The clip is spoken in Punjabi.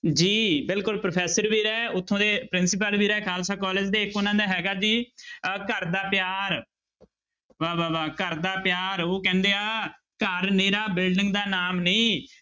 ਜੀ ਬਿਲਕੁਲ ਪ੍ਰੋਫ਼ੈਸਰ ਵੀ ਰਹੇ ਉੱਥੋਂ ਦੇ ਪ੍ਰਿੰਸੀਪਲ ਵੀ ਰਹੇ ਖਾਲਸਾ college ਦੇ ਇੱਕ ਉਹਨਾਂ ਦਾ ਹੈਗਾ ਜੀ ਅਹ ਘਰ ਦਾ ਪਿਆਰ ਵਾਹ-ਵਾਹ, ਵਾਹ ਘਰ ਦਾ ਪਿਆਰ ਉਹ ਕਹਿੰਦੇ ਆ ਘਰ ਮੇਰਾ building ਦਾ ਨਾਮ ਨਹੀਂ,